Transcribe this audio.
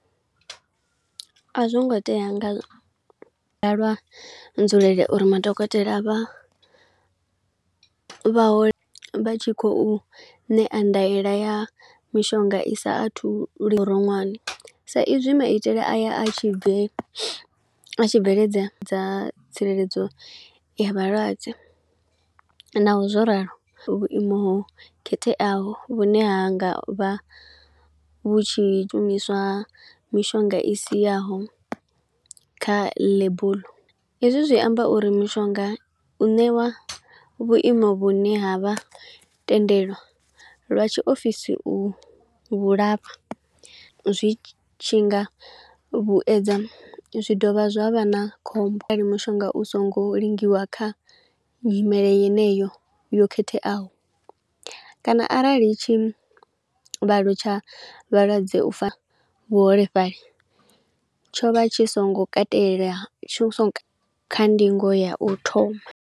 A zwo ngo tea nga lwa nzulele uri madokotela vha vha ho, vha tshi kho ṋea ndaela ya mishonga i sa athu roṅwane. Sa izwi maitele a ya a tshi bve a tshi bveledza dza tsireledzo ya vhalwadze, naho zwo ralo vhuimo khetheaho vhune ha nga vha vhu tshi shumiswa mishonga i siaho kha ḽebuḽu. Hezwi zwi amba uri mishonga u ṋewa vhuimo vhune ha vha tendelwa lwa tshiofisi u vhulafhoa, zwi tshi nga vhuedza zwi dovha zwavha na khombo are mushonga u songo lingiwa kha nyimele yeneyo yo khetheaho. Kana arali tshivhalo tsha vhalwadze ufa vhuholefhali tsho vha tshi songo katela, kha ndingo ya u thoma.